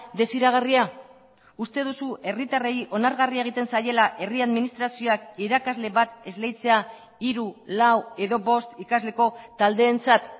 desiragarria uste duzu herritarrei onargarria egiten zaiela herri administrazioak irakasle bat esleitzea hiru lau edo bost ikasleko taldeentzat